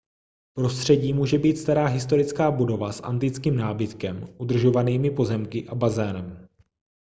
prostředí může být stará historická budova s antickým nábytkem udržovanými pozemky a bazénem